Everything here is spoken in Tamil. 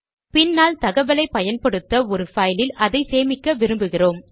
பின்னால் தகவலை பயன்படுத்த ஒரு பைலில் அதை சேமிக்க விரும்புகிறோம்